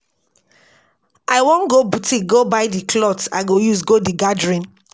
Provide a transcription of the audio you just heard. I wan go boutique go buy the cloth I go use go the gathering